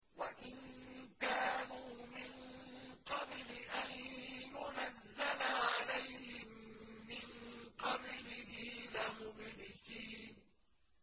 وَإِن كَانُوا مِن قَبْلِ أَن يُنَزَّلَ عَلَيْهِم مِّن قَبْلِهِ لَمُبْلِسِينَ